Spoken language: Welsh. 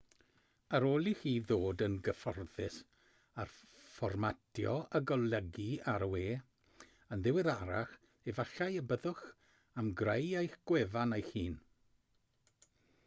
ar ôl i chi ddod yn gyfforddus â fformatio a golygu ar y we yn ddiweddarach efallai y byddwch am greu eich gwefan eich hun